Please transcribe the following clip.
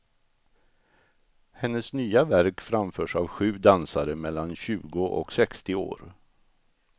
Hennes nya verk framförs av sju dansare mellan tjugo och sextio år.